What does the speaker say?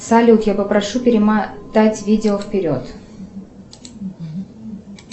салют я попрошу перемотать видео вперед